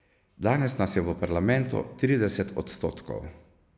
Danes nas je v parlamentu trideset odstotkov.